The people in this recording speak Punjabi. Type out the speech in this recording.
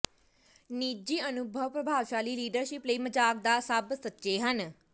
ਨਿੱਜੀ ਅਨੁਭਵ ਪ੍ਰਭਾਵਸ਼ਾਲੀ ਲੀਡਰਸ਼ਿਪ ਲਈ ਮਜ਼ਾਕ ਦਾ ਸਭ ਸੱਚੇ ਹਨ